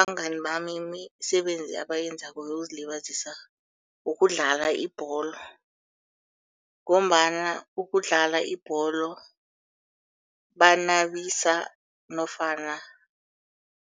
Abangani bami imisebenzi abayenzako yokuzilibazisa ukudlala ibholo. Ngombana ukudlala ibholo banabisa nofana